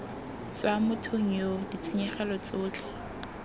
tswa mothong yoo ditshenyegelo tsotlhe